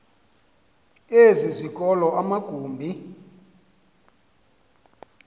ezi zikolo amagumbi